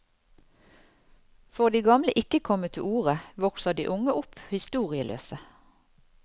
Får de gamle ikke komme til orde, vokser de unge opp historieløse.